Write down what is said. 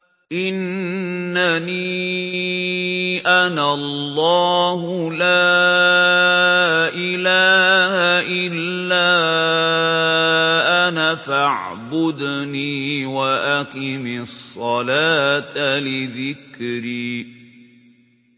إِنَّنِي أَنَا اللَّهُ لَا إِلَٰهَ إِلَّا أَنَا فَاعْبُدْنِي وَأَقِمِ الصَّلَاةَ لِذِكْرِي